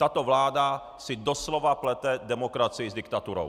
Tato vláda si doslova plete demokracii s diktaturou.